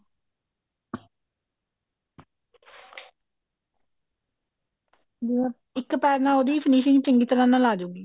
ਅਹ ਇੱਕ ਪੈਰ ਨਾਲ ਉਹਦੀ finishing ਚੰਗੀ ਤਰ੍ਹਾਂ ਨਾਲ ਆਜੁਗੀ